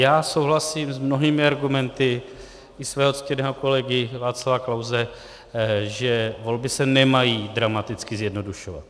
Já souhlasím s mnohými argumenty i svého ctěného kolegy Václava Klause, že volby se nemají dramaticky zjednodušovat.